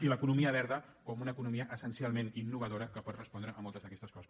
i l’economia verda com una economia essencialment innovadora que pot respondre a moltes d’aquestes coses